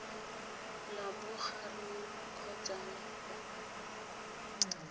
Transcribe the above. la bogareng kgotsa la kwa